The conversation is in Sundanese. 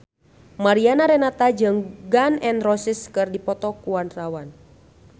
Mariana Renata jeung Gun N Roses keur dipoto ku wartawan